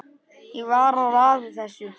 Ég var að raða þessu